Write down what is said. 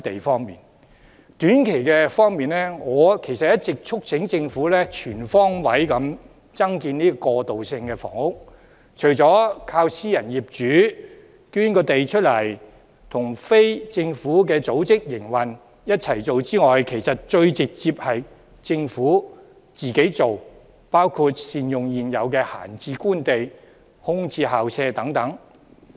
在短期方面，我其實一直促請政府全方位增建過渡性房屋，除了靠私人業主捐出土地，以及與非政府組織營運，雙管齊下外，其實最直接的做法是政府自己推進，包括善用現有閒置官地、空置校舍等。